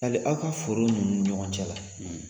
Yali aw ka foro ninnu ɲɔgɔn cɛ la,